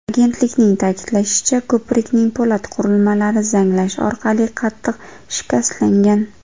Agentlikning ta’kidlashicha, ko‘prikning po‘lat qurilmalari zanglash orqali qattiq shikastlangan.